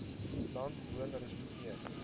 land woon respekteer